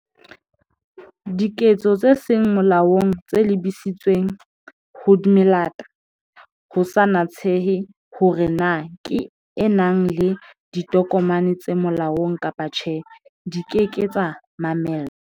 Diketso tse seng molaong tse lebisitsweng ho melata, ho sa natsehe hore na ke e nang le ditokomane tse molaong kapa tjhe, di ke ke tsa mamellwa.